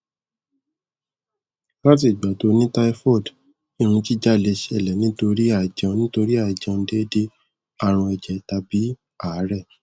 lati igba to ni typhoid irun jija le sele nitori aijeun nitori aijeun deede arun eje tabi aare